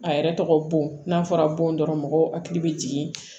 A yɛrɛ tɔgɔ bon n'a fɔra bon dɔrɔn mɔgɔw hakili bɛ jigin